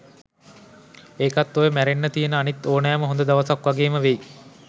ඒකත් ඔය මැරෙන්න තියෙන අනිත් ඕනෑම හොඳ දවසක් වගේම වෙයි